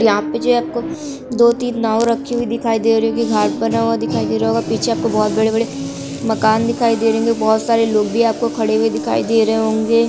यहाँ पे जी आपको दो तीन नाव रखी हुई दिखाई दे रही होगी घाट बना हुआ दिखाई दे रहा होगा पीछे आपको बहोत बड़े-बड़े मकान दिखाई दे रहे होंगे बहोत सारे लोग भी आपको खड़े हुए दिखाई दे रहे होंगे।